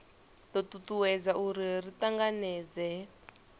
do tutuwedza uri ri tanganedzee